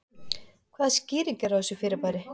Hvaða skýring er á þessu fyrirbæri?